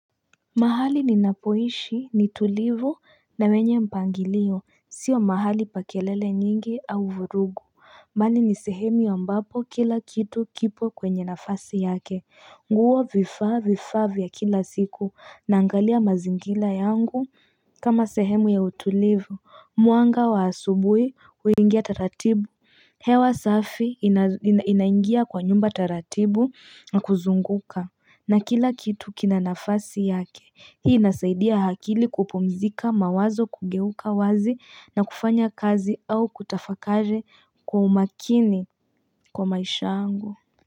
Mahali ninapoishi ni tulivu na wenye mpangilio sio mahali pa kelele nyingi au vurugu mbali ni sehemu ambapo kila kitu kipo kwenye nafasi yake nguo vifaa vifaa vya kila siku naangalia mazingila yangu kama sehemu ya utulivu mwanga wa asubui uingia taratibu hewa safi inaingia kwa nyumba taratibu na kuzunguka na kila kitu kina nafasi yake hii inasaidia hakili kupumzika mawazo kugeuka wazi na kufanya kazi au kutafakari kwa umakini kwa maisha angu.